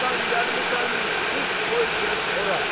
Hardan gəlmisən, çıx, qoy get ora!